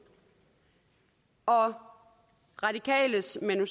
og radikales manu